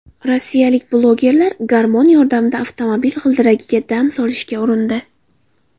Rossiyalik blogerlar garmon yordamida avtomobil g‘ildiragiga dam solishga urindi .